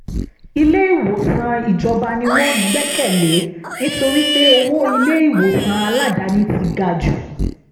ilé-ìwòsàn ìjọba ni wọ́n gbẹ́kẹ̀ lé nítorí pé owó ilé-ìwòsàn aládàáni ti ga jù